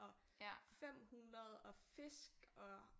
Og 500 og Fisk og